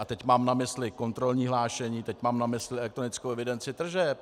A teď mám na mysli kontrolní hlášení, teď mám na mysli elektronickou evidenci tržeb.